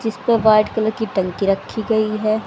जिसपे white colour की टंकी रखी गई है।